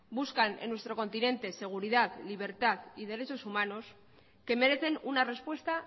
buscan en nuestro continente seguridad libertad y derechos humanos que merecen una respuesta